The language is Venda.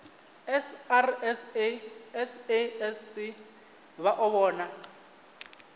srsa sasc vha o vhona